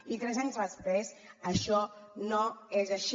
i tres anys després això no és així